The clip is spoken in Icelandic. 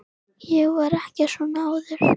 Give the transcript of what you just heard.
Ég var ekki svona áður.